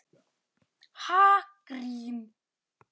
Ha, grín?